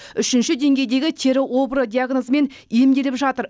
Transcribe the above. үшінші деңгейдегі тері обыры диагнозымен емделіп жатыр